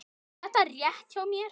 Var þetta rétt hjá mér?